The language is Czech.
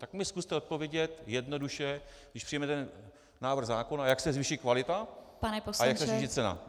Tak mi zkuste odpovědět jednoduše, když přijmeme ten návrh zákona, jak se zvýší kvalita a jak se zvýší cena.